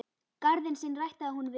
Garðinn sinn ræktaði hún vel.